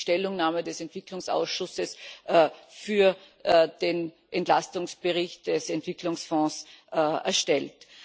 Er hat nämlich die Stellungnahme des Entwicklungsausschusses für den Entlastungsbericht des Entwicklungsfonds erstellt.